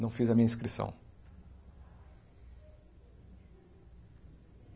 Não fiz a minha inscrição.